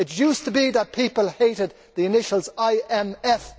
It used to be that people hated the initials IMF.